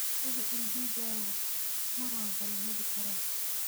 Hubi in digaaggu mar walba la heli karo.